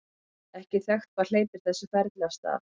ekki er þekkt hvað hleypir þessu ferli af stað